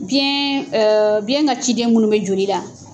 Biyɛn biyɛn ka ciden minnu bɛ joli la.